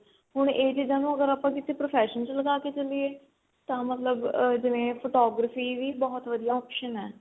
ਹੁਣ ਇਹ ਚੀਜ਼ਾਂ ਨੂੰ ਅਗਰ ਆਪਾਂ ਕਿਸੀ profession ਚ ਲਗਾ ਕੇ ਚਲੀਏ ਤਾਂ ਮਤਲਬ ਆ ਜਿਵੇਂ photography ਵੀ ਬਹੁਤ ਵਧੀਆ option ਏ